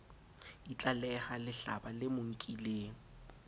itlaleha lehlaba le mo nkileng